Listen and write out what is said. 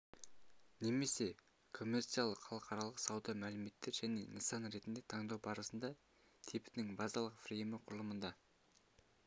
немесе коммерциялық халықаралық сауда мәмілелер және нысан ретінде таңдау барысында типінің базалық фреймі құрылымында